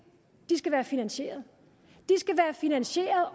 de skal være finaniseret